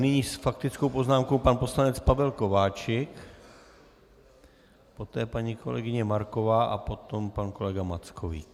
Nyní s faktickou poznámkou pan poslanec Pavel Kováčik, poté paní kolegyně Marková a potom pan kolega Mackovík.